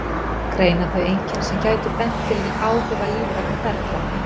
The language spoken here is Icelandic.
Greina þau einkenni sem gætu bent til áhrifa lífrænna ferla.